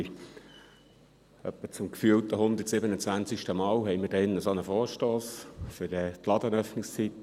Etwa zum gefühlten 127. Mal haben wir hier einen solchen Vorstoss für das Liberalisieren der Ladenöffnungszeiten.